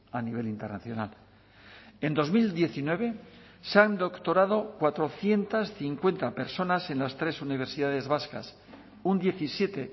a nivel internacional en dos mil diecinueve se han doctorado cuatrocientos cincuenta personas en las tres universidades vascas un diecisiete